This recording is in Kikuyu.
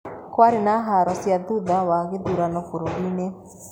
Kwarĩ na haro cia thutha wa gĩthurano bũrũri-inĩ.